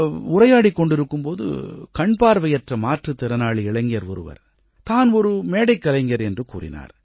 உரையாடிக் கொண்டிருக்கும் போது கண்பார்வையற்ற மாற்றுத் திறனாளி இளைஞர் ஒருவர் தான் ஒரு மேடைக்கலைஞர் என்று கூறினார்